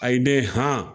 Ayi ne ham